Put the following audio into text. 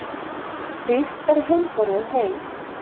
Rýrt er heimborðið hey.